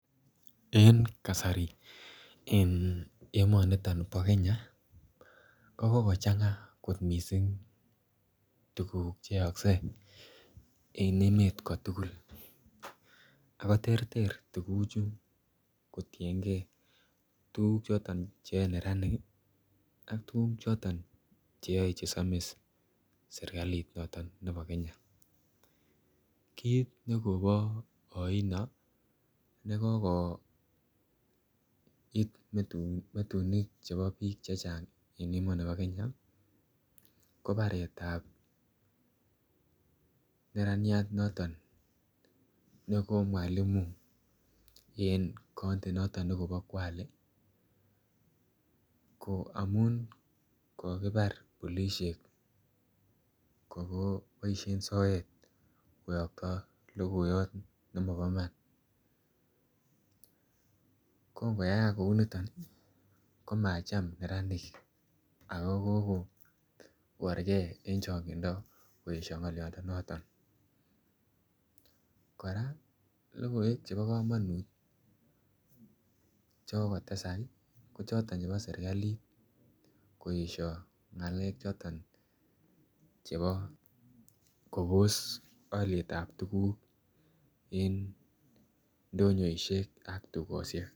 En kasari en ominiton bo Kenya kikochenga kot missing tukuk cheyokse en emet kotukul ako terter tukuchu kotiyengee tukuk choton cheyoe neranik kii ak tukuk choton cheyoe chesomis sirkalit noton nebo Kenya. Kit nekobo oino nekokoit metunik chebo bik vhevh8 en emoni bo Kenya kobaretab neraniat noton neko mwalimu en kot noton nekobi kwalen ko amun kokibar polishek ko koboishen soet koyokto lokoiyot nemobo Iman, Kon koyaak kou niton ko macham neranik ako komoborgee en chongindo koyesho ngoliodonoton. Koraa lokoiwek chebo komonut chekokotesa kii ko choton chebo sirkali koyesho ngalek choton chebo Kobos olietab tukuk indonyoishek ak tukoshek.